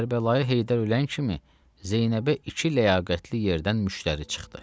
Kərbəlayı Heydər ölən kimi Zeynəbə iki ləyaqətli yerdən müştəri çıxdı.